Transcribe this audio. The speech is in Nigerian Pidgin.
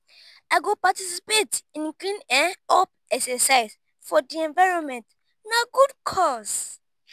i go participate in clean-up exercise for di environment; na good cause.